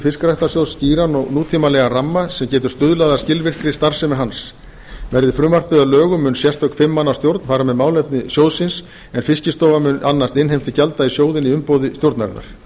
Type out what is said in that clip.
fiskræktarsjóðs skýran og nútímalegan ramma sem stuðlað getur að skilvirkri starfsemi hans verði frumvarpið að lögum mun sérstök fimm manna stjórn fara með málefni sjóðsins en fiskistofa mun annast innheimtu gjalda í sjóðinn í umboði stjórnarinnar